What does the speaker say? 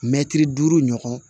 Mɛtiri duuru ɲɔgɔn